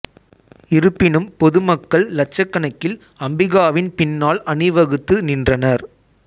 இருப்பினும் பொது மக்கள் இலட்சக்கணக்கில் அம்பிகாவின் பின்னால் அணிவகுத்து நின்றனர்